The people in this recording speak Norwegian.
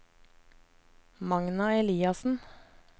Magna Eliassen